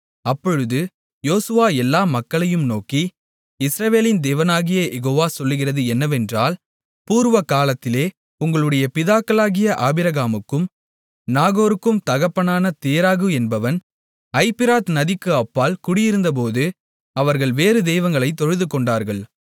அப்பொழுது யோசுவா எல்லா மக்களையும் நோக்கி இஸ்ரவேலின் தேவனாகிய யெகோவா சொல்லுகிறது என்னவென்றால் பூர்வ காலத்திலே உங்களுடைய பிதாக்களாகிய ஆபிரகாமுக்கும் நாகோருக்கும் தகப்பனான தேராகு என்பவன் ஐபிராத் நதிக்கு அப்பால் குடியிருந்தபோது அவர்கள் வேறு தெய்வங்களைத் தொழுதுகொண்டார்கள்